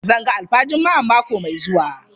Zan ga alfa Juma'an mako mai zuwa.